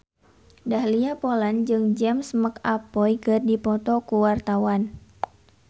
Dahlia Poland jeung James McAvoy keur dipoto ku wartawan